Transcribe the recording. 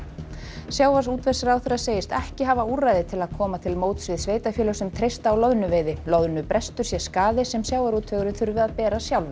sjávarútvegsráðherra segist ekki hafa úrræði til að koma til móts við sveitarfélög sem treysta á loðnuveiði loðnubrestur sé skaði sem sjávarútvegurinn þurfi að bera sjálfur